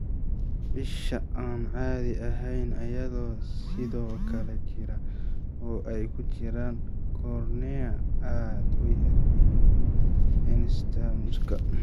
Isha aan caadi ahayn ayaa sidoo kale jira, oo ay ku jiraan cornea aad u yar iyo nystagmuska.